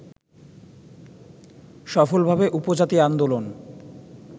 সফলভাবে উপজাতি আন্দোলন